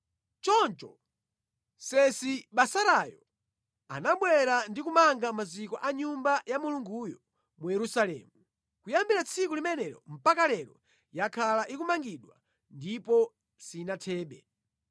“Choncho Sesibazarayo anabwera ndi kumanga maziko a Nyumba ya Mulunguyo mu Yerusalemu. Kuyambira tsiku limenelo mpaka lero yakhala ikumangidwa ndipo sinathebe.”